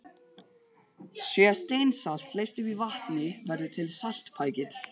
Sé steinsalt leyst upp í vatni, verður til saltpækill.